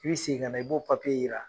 I bi segin ka na, i b'o yira .